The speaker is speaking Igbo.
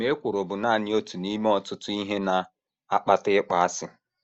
Ma ekworo bụ nanị otu n’ime ọtụtụ ihe na - akpata ịkpọasị.